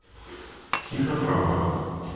кинопроба